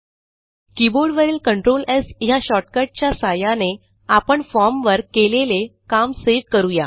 कीबोर्डवरील control S ह्या shortcut च्या सहाय्याने आपण formवर केलेले काम सेव्ह करू या